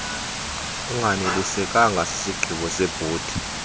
unganelisekanga sisigqibo sebhodi